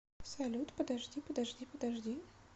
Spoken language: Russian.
салют подожди подожди подожди